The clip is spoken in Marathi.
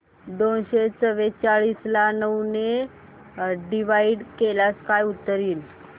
दोनशे चौवेचाळीस ला नऊ ने डिवाईड केल्यास काय उत्तर येईल